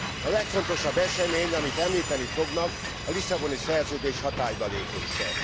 A legfontosabb esemény, amit említeni fognak, a Lisszaboni Szerződés hatálybalépése.